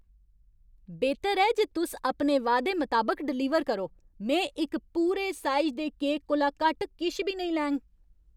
बेहतर ऐ जे तुस अपने वादे मताबक डलीवर करो। में इक पूरे साइज दे केक कोला घट्ट किश बी नेईं लैङ।